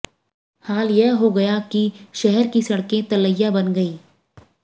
हाल यह हो गया कि शहर की सडकें तलैया बन गई